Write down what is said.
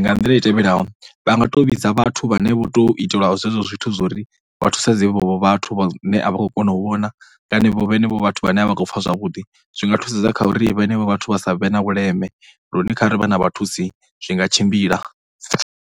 Nga nḓila i tevhelaho, vha nga tou vhidza vhathu vhane vho tou itelwa zwezwo zwithu zwo ri vha thusedze vhevho vhathu vhane a vha khou kona u vhona kana vhevho vhenevho vhathu vhane a vha khou pfha zwavhuḓi. Zwi nga thusedza kha uri vhenevho vhathu vha sa vhe na vhuleme lune kha ri vha na vha thusi zwi nga tshimbila.